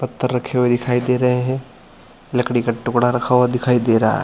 पत्थर रखे हुए दिखाई दे रहे है लकड़ी का टुकड़ा रखा हुआ दिखाई दे रहा है।